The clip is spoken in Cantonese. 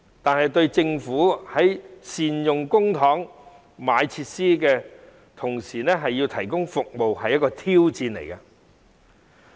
但是，對政府而言，既要善用公帑購買設施，同時亦要盡快提供服務，實屬一項挑戰。